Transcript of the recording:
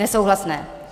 Nesouhlasné.